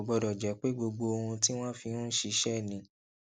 kò gbódò jé pé gbogbo ohun tí wón fi ń ṣiṣé ni